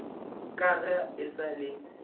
ka ga e sa le